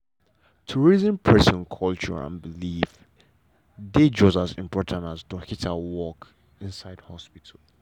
to reason person culture and believe dey just as important as dorkita work inside hospital.